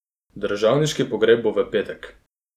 Državniški pogreb bo v petek.